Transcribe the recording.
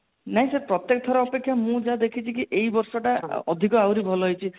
ନାଇଁ sir ପ୍ରତେକ ଥର ଅପେକ୍ଷା ମୁଁ ଯାହା ଦେଖିଛି କି ଏଇ ବର୍ଷ ଟା ଅଧିକ ଆହୁରି ଭଲ ହେଇଛି